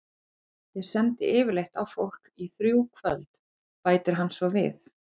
Ég sendi yfirleitt á fólk í þrjú kvöld, bætir hann svo við.